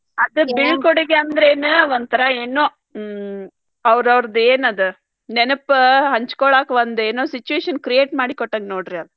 ಅದ್ ಬಿಳ್ಕೊಡುಗೆ ಅಂದ್ರೆನ್ ಒಂಥರಾ ಏನೋ ಹ್ಮ್ ಅವರೌರ್ದ್ ಏನದ ನೆನಪ ಹಂಚ್ಕೋಳಾಕ ಒಂದೇನೋ situation create ಮಾಡಿ ಕೊಟ್ಟಂಗ ನೋಡ್ರಿ ಆದ್.